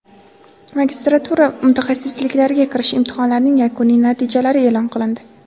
magistratura mutaxassisliklariga kirish imtihonlarining yakuniy natijalari e’lon qilindi.